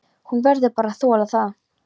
Hún verður bara að þola það.